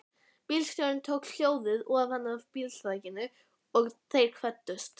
Bílstjórinn tók hjólið ofanaf bílþakinu og þeir kvöddust.